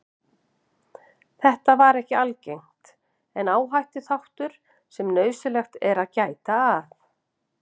Þetta er ekki algengt en áhættuþáttur sem nauðsynlegt er að gæta að.